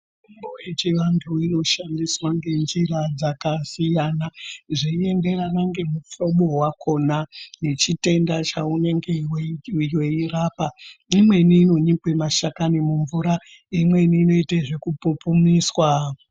Mitombo yechi antu inoshandiswa ngenjira dzakasiyana, zveyenderana ngemuhlobo wakhona nechitenda chawunenge weyirapa. Imweni inonikwe mashakami mumvura, imweni inoitwe zvekupupumiswa.